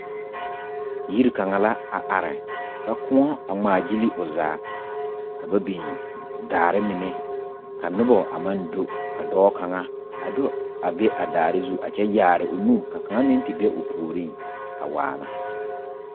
Yiri kaŋa la a are ka koɔ a ŋmaagyili o zaa ka ba biŋ daare mine ka noba a maŋ do ka dɔɔ kaŋa a do a be a daare zu ka kaŋa meŋ te be o puoriŋ a waana.